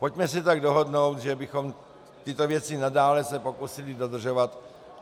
Pojďme se tak dohodnout, že bychom tyto věci nadále se pokusili dodržovat.